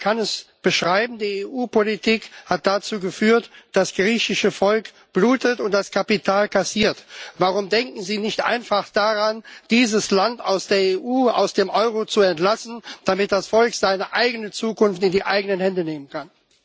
Man kann es so beschreiben Die EU Politik hat dazu geführt, dass das griechische Volk blutet und das Kapital kassiert. Warum denken Sie nicht einfach daran, dieses Land aus der EU, aus dem Euro zu entlassen, damit das Volk seine eigene Zukunft in die eigenen Hände nehmen kann?